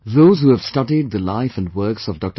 Those who have studied the life and works of Dr